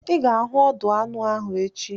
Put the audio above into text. I ga-ahụ ọdụ anụ ahụ echi!